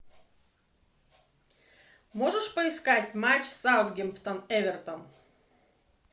можешь поискать матч саутгемптон эвертон